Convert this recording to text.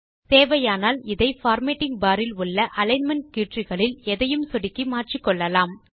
தேவையானால் இதை formatting bar இல் உள்ள அலிக்ன்மென்ட் கீற்றுகளில் எதையும் சொடுக்கி மாற்றிக்கொள்ளலாம்